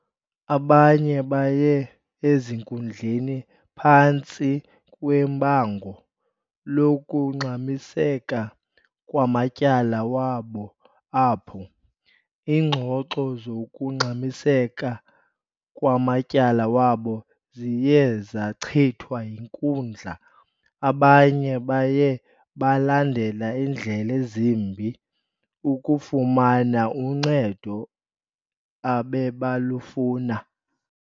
Abanye baye ezinkundleni phantsi kwebango lokungxamiseka kwamatyala wabo apho iingxoxo zokungxamiseka kwamatyala wabo ziye zachithwa yinkundla abanye baye balandela ndlela zimbi ukufumana uncedo abebalufuna.